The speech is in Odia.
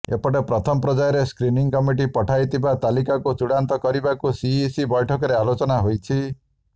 ଏପଟେ ପ୍ରଥମ ପ୍ରର୍ଯ୍ୟାୟରେ ସ୍କ୍ରିନିଂ କମିଟି ପଠାଇଥିବା ତାଲିକାକୁ ଚୂଡାନ୍ତ କରିବାକୁ ସିଇସି ବ୘ଠକରେ ଆଲୋଚନା ହୋଇଛି